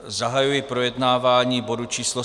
Zahajuji projednávání bodu číslo